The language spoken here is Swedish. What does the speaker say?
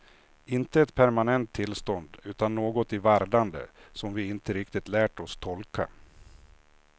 Inte ett permanent tillstånd, utan något i vardande, som vi inte riktigt lärt oss tolka.